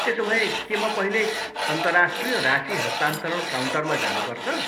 त्यसोभए, के म पहिले अन्तर्राष्ट्रिय राशि हस्तान्तरण काउन्टरमा जानुपर्छ?